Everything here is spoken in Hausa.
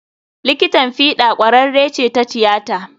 Likitan fiɗa ƙwararre ce ta tiyata.